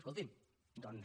escolti’m doncs